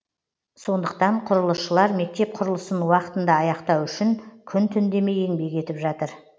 сондықтан құрылысшылар мектеп құрылысын уақытында аяқтау үшін күн түн демей еңбек етіп жатыр